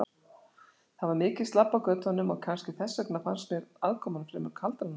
Það var mikið slabb á götunum og kannski þess vegna fannst mér aðkoman fremur kaldranaleg.